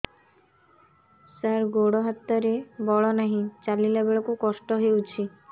ସାର ଗୋଡୋ ହାତରେ ବଳ ନାହିଁ ଚାଲିଲା ବେଳକୁ କଷ୍ଟ ହେଉଛି